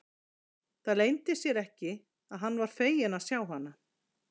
Það leyndi sér ekki að hann var feginn að sjá hana.